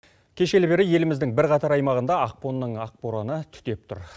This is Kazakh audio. кешелі бері еліміздің бірқатар аймағында ақпанның ақ бораны түтеп тұр